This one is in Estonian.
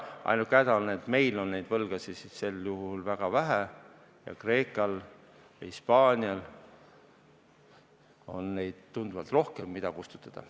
Ainuke häda on, et meil on neid võlgasid väga vähe ning Kreekal ja Hispaanial on tunduvalt rohkem seda, mida kustutada.